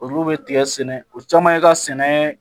Olu bɛ tigɛ sɛnɛ o caman ye ka sɛnɛ